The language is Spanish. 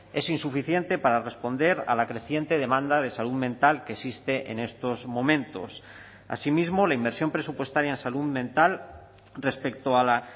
es insuficiente para responder a la creciente demanda de salud mental que existe en estos momentos asimismo la inversión presupuestaria en salud mental respecto a la